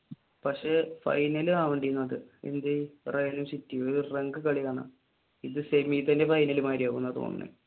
പക്ഷെ ഫൈനൽ ഇത് സെമിയിൽ തന്നെ ഫൈനൽ മാതിരി ആവുമെന്ന തോന്നണേ.